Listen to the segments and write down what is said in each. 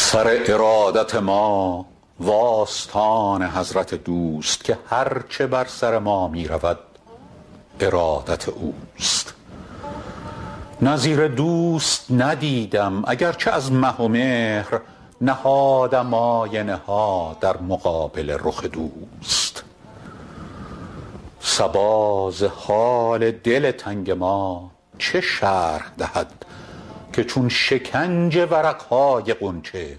سر ارادت ما و آستان حضرت دوست که هر چه بر سر ما می رود ارادت اوست نظیر دوست ندیدم اگر چه از مه و مهر نهادم آینه ها در مقابل رخ دوست صبا ز حال دل تنگ ما چه شرح دهد که چون شکنج ورق های غنچه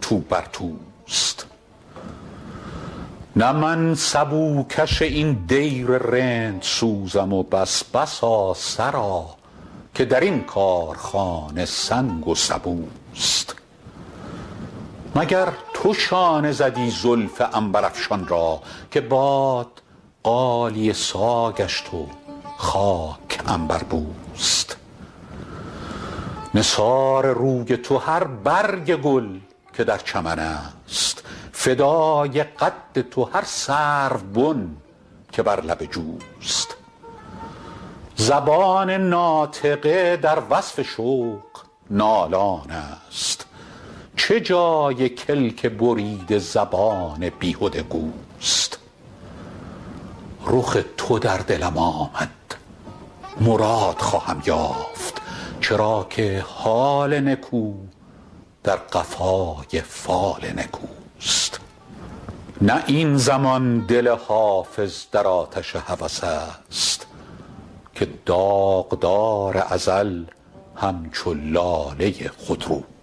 تو بر توست نه من سبوکش این دیر رندسوزم و بس بسا سرا که در این کارخانه سنگ و سبوست مگر تو شانه زدی زلف عنبرافشان را که باد غالیه سا گشت و خاک عنبربوست نثار روی تو هر برگ گل که در چمن است فدای قد تو هر سروبن که بر لب جوست زبان ناطقه در وصف شوق نالان است چه جای کلک بریده زبان بیهده گوست رخ تو در دلم آمد مراد خواهم یافت چرا که حال نکو در قفای فال نکوست نه این زمان دل حافظ در آتش هوس است که داغدار ازل همچو لاله خودروست